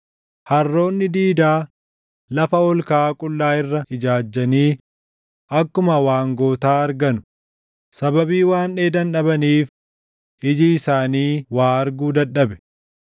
Harroonni diidaa lafa ol kaʼaa qullaa irra ijaajjanii akkuma waangotaa arganu; sababii waan dheedan dhabaniif iji isaanii waa arguu dadhabe.”